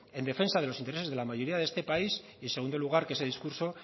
en defensa de los intereses de la mayoría de esta país y segundo lugar que ese discurso